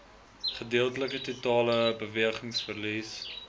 gedeeltelike totale bewegingsverlies